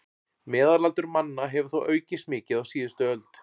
Meðalaldur manna hefur þó aukist mikið á síðustu öld.